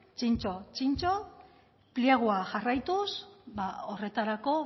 zintzo zintzo pliegoa jarraituz horretarako